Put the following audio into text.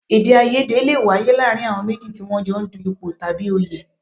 Èdèàìyedè lè wáyé láàárín àwọn méjì tí wọ́n jọ ń du ipò tàbí òye